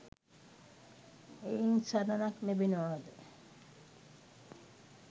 එයින් සරණක් ලැබෙනවාද?